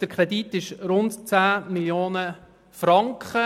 Der Kredit beläuft sich auf rund 10 Mio. Franken.